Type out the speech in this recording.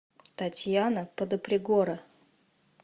татьяна подопригора